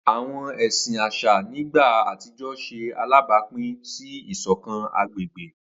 Awọn ẹsin aṣa ni igba atijọ ṣe alabapin si isokan agbegbe.